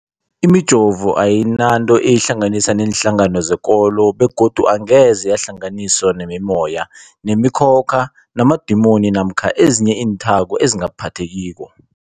Imijovo ayinanto eyihlanganisa neenhlangano zekolo begodu angeze yahlanganiswa nemimoya, nemi khokha, namadimoni namkha ezinye iinthako ezingaphathekiko.